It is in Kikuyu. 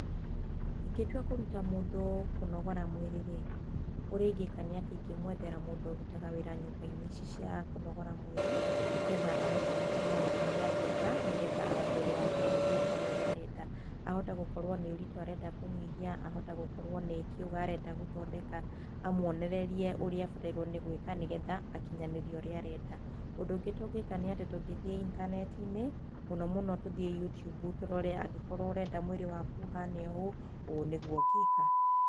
Ingĩtua kũruta mũndũ kũnogora mwĩrĩ-rĩ, ũrĩa ingĩka nĩ atĩ ingĩmwethera mũndũ ũrutaga wĩra nyũmba ici cia kũnogora mwĩrĩ, nĩgetha amũthomithie ũrĩa angĩka nĩgetha mwĩrĩ wake ũikare ũrĩa arenda. Ahota gũkorwo nĩ ũritũ arenda kũnyihia, ahota gũkorwo nĩ kĩũga arenda gũthondeka, amuonererie ũrĩa egũĩka nĩgetha akinyanĩrie ũrĩa arenda. Ũndũ ũngĩ tũngĩka tũngĩthiĩ intaneti-inĩ, mũno mũno tũthiĩ YouTube tũrore angĩkorwo ũrenda mwĩrĩ waku ũhane ũũ, ũũ nĩguo ũngĩka.